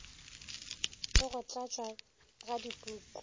le go tlatšwa ga dipuku